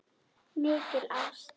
Mikil ást.